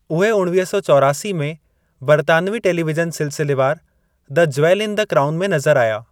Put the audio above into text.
उहे उणिवीह सौ चोरासी में बरितानवी टेलीविजन सिलसिलेवार the jewel in the crown में नज़रु आया।